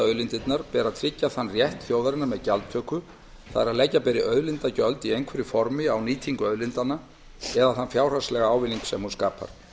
auðlindirnar ber að tryggja þann rétt þjóðarinnar með gjaldtöku það er að leggja beri auðlindagjöld í einhverju formi á nýtingu auðlindanna eða þann fjárhagslega ávinning sem hún skapar